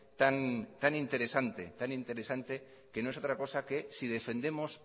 tan interesante que no es otra cosa que si defendemos